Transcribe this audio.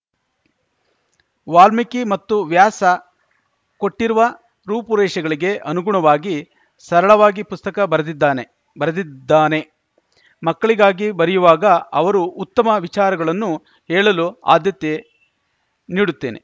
ವಾಲ್ಮೀಕಿ ಮತ್ತು ವ್ಯಾಸ ಕೊಟ್ಟಿರುವ ರೂಪುರೇಷೆಗಳಿಗೆ ಅನುಗುಣವಾಗಿ ಸರಳವಾಗಿ ಪುಸ್ತಕ ಬರೆದಿದ್ದಾನೆ ಬರೆದಿದ್ದಾನೆ ಮಕ್ಕಳಿಗಾಗಿ ಬರೆಯುವಾಗ ಅವರು ಉತ್ತಮ ವಿಚಾರಗಳನ್ನು ಹೇಳಲು ಆದ್ಯತೆ ನೀಡುತ್ತೇನೆ